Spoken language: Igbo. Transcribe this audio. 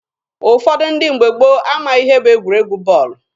Ụfọdụ ndị mgbe gboo amaghị ihe bụ egwuregwu bọọlụ.